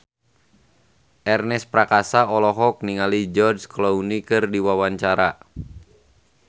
Ernest Prakasa olohok ningali George Clooney keur diwawancara